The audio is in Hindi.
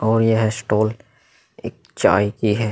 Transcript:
और यह स्टॉल एक चाय की है।